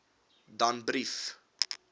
danbrief